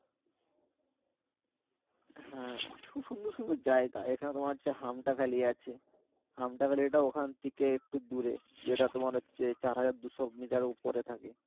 হ্যা খুব সুন্দর সুন্দর জায়গা এখানে তোমার যে হামটা ভ্যালি আছে, হামটা ভ্যালি টাও ওখান থেকে একটু দূরে যেটা তোমার যে চার হাজার দুইশ মিটারে উপরে থাকে